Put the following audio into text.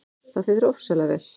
Það fer þér ofsalega vel!